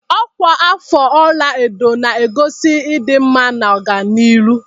Ọkwa afọ ọlaedo na-egosi ịdị mma na ọganihu.